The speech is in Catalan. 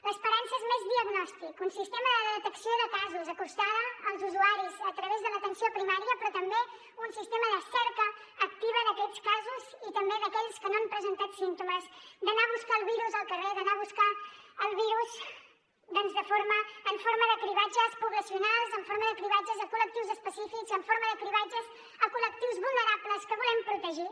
l’esperança és més diagnòstic un sistema de detecció de casos acostada als usuaris a través de l’atenció primària però també un sistema de cerca activa d’aquests casos i també d’aquells que no han presentat símptomes d’anar a buscar el virus al carrer d’anar a buscar el virus en forma de cribratges poblacionals en forma de cribratges a col·lectius específics en forma de cribratges a col·lectius vulnerables que volem protegir